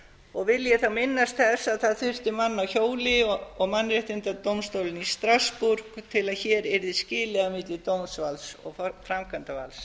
og vil ég þá minnast þess að það þurfti mann á hjóli og mannréttindadómstólinn í strassborg til að hér yrði skilið á milli dómsvalds og framkvæmdarvalds